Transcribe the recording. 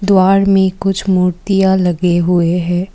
द्वार में कुछ मूर्तियां लगे हुए है।